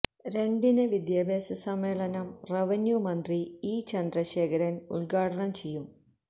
രണ്ടിന് വിദ്യാഭ്യാസ സമ്മേളനം റവന്യൂ മന്ത്രി ഇ ചന്ദ്രശേഖരന് ഉദ്ഘാടനം ചെയ്യും